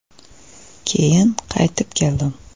Keyin qaytib keldim.